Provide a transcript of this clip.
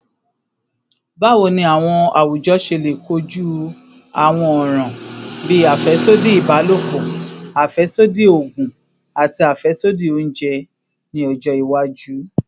Bawo ni awujọ ṣe le koju awọn ọran bii afẹsodi ibalopọ, afẹsodi oogun, ati afẹsodi ounjẹ ni ọjọ iwaju?